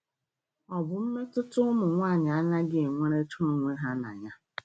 Ọ bụ mmetụta ụmụ nwanyị anaghị enwerecha onwe ha na ya.